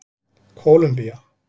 Kólumbía